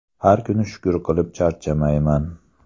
Har kuni shukur qilib charchamayman.